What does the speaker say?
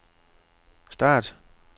start